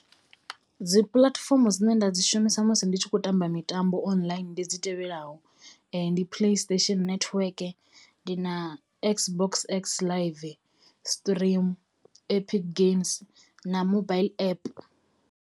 Dzi puḽatifomo dzine nda dzi shumisa musi ndi tshi khou tamba mitambo online ndi dzi tevhelaho ndi play station network, ndi na x box x live stream, epic games, na mobile app.